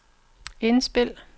indspil